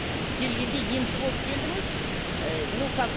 келгенде емші болып келдіңіз ы но как